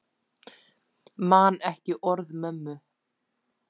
Man ekki orð mömmu.